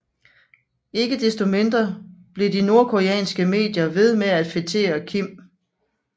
Ikke desto mindre blev de nordkoreanske medier ved med at fetere Kim